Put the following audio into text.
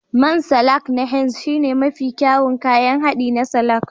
Man salak na Henz shine mafi kyawun kayan haɗi na salak